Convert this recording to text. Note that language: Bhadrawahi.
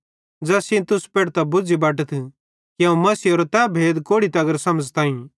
ज़ैस सेइं तुस पेढ़तां बुझ़ी बटतथ कि अवं मसीहेरो तै भेद कोड़ि तगर समझ़ताईं